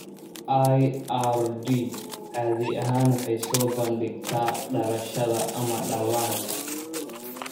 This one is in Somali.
IRD caadi ahaan waxay soo bandhigtaa dhalashada ama dhallaanka.